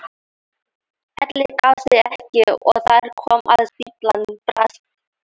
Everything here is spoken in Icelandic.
Elli gaf sig ekki og þar kom að stíflan brast.